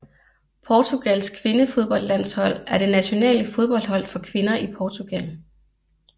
Portugals kvindefodboldlandshold er det nationale fodboldhold for kvinder i Portugal